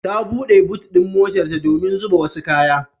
Ta buɗe but ɗin motarta domin zuba wasu kaya.